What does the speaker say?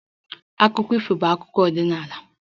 Akụkọ ifo bụ akụkọ ọdịnala